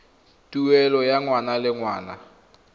tuelo ya ngwaga le ngwaga